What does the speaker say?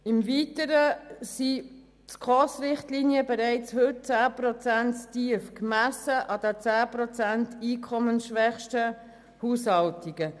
Im Weiteren sind die Richtlinien der Schweizerischen Konferenz für Sozialhilfe (SKOS) bereits heute 10 Prozent zu tief, gemessen an den 10 Prozent einkommensschwächsten Haushalten.